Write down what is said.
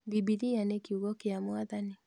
Bibilia nĩ kiugo kĩa Mwathani